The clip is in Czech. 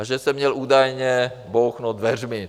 A že jsem měl údajně bouchnout dveřmi.